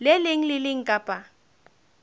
leng le le leng kapa